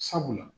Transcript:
Sabula